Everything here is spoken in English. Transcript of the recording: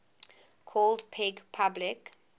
called peg public